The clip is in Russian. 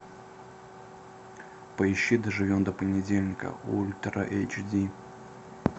поищи доживем до понедельника ультра эйч ди